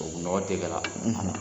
Tubabu nɔgɔ tɛ k'a la.